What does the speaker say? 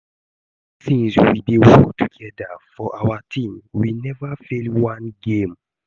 Ever since we dey work together for our team we never fail one game